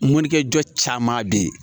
Mɔnikɛ caman bɛ ye